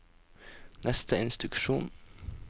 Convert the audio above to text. neste instruksjon